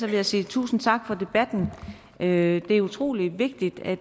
vil jeg sige tusind tak for debatten det er utrolig vigtigt at